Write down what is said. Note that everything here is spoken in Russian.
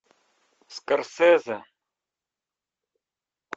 скорсезе